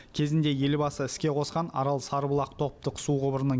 кезінде елбасы іске қосқан арал сарыбұлақ топтық су құбырының